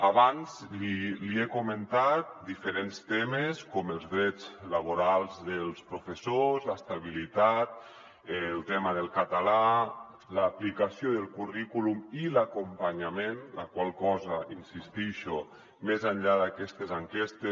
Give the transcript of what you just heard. abans li he comentat diferents temes com els drets laborals dels professors l’es·tabilitat el tema del català l’aplicació del currículum i l’acompanyament la qual cosa hi insistixo més enllà d’aquestes enquestes